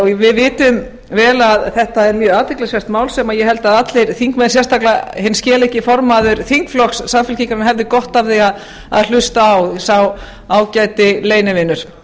við vitum vel að þetta er mjög athyglisvert mál sem ég held að allir þingmenn sérstaklega hinn skeleggi formaður þingflokks samfylkingarinnar hefði gott af því að hlusta á sá ágæti leynivinur